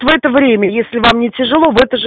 в это время если вам не тяжело в это же